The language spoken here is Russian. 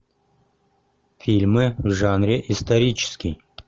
фильмы в жанре исторический